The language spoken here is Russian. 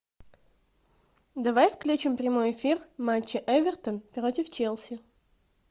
давай включим прямой эфир матча эвертон против челси